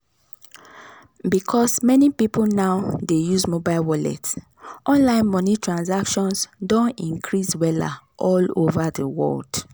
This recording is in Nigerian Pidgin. because many people now dey use mobile wallet online money transactions don increase wella all over the world.